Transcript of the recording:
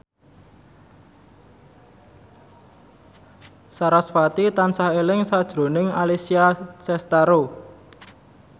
sarasvati tansah eling sakjroning Alessia Cestaro